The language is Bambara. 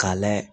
K'a layɛ